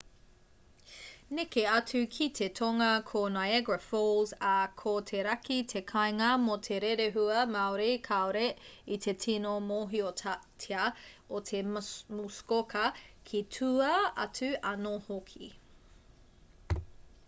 neke atu ki te tonga ko niagara falls ā ko te raki te kāinga mō te rerehua māori kāore i te tino mōhiotia o te muskoka ki tua atu anō hoki